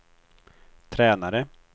tränare